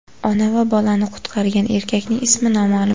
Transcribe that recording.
Ona va bolani qutqargan erkakning ismi noma’lum.